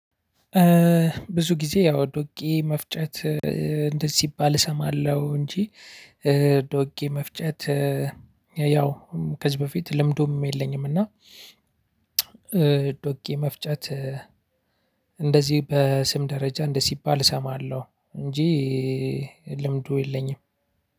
ብዙ ጊዜ ያው ዱቄት መፍጨት እንደዚህ ሲባል እሰማለሁ እንጂ ዶጌ መፍጨት ያው ከዚህ በፊት ልምዱም የለኝም እና ዶጌ መፍጨት እንደዚህ በስም ደረጃ እንደ ሲባል እሰማለሁ እንጂ ልምዱ የለኝም።